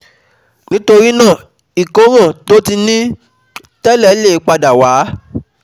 Nítorí náà ìkóràn tó ti ní um tẹ́lẹ̀ lè padà wá um